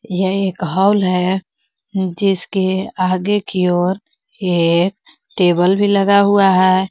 यह एक हॉल हैं जिसके आगे की ओर एक टेबल भी लगा हुआ है।